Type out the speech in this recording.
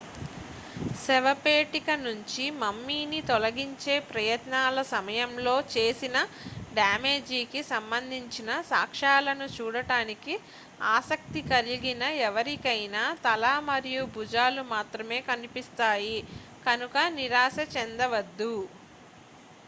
శవపేటిక నుంచి మమ్మీని తొలగించే ప్రయత్నాల సమయంలో చేసిన డ్యామేజీ కి సంబంధించిన సాక్ష్యాలను చూడటానికి ఆసక్తి కలిగిన ఎవరికైనా తల మరియు భుజాలు మాత్రమే కనిపిస్తాయి కనుక నిరాశచెందవచ్చు